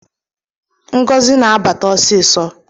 Ngozi na-abata ọsịsọ